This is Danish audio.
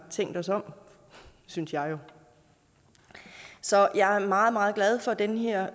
tænkt os om synes jeg så jeg er meget meget glad for den her